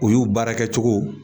Olu baara kɛcogow